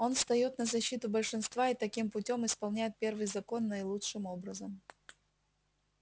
он встаёт на защиту большинства и таким путём исполняет первый закон наилучшим образом